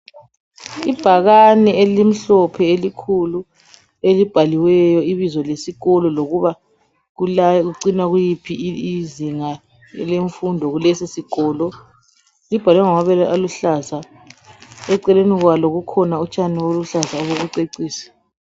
Ibhakane elimhlophe elikhulu elibhaliweyo ibizo lesikolo lokuba kula kucinwa kuyiphi izinga lemfundo kulesisikolo , libhalwe ngamabala aluhlaza , eceleni kwalo kukhona utshani obuluhlaza obokucecisa